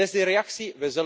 En wat is die reactie?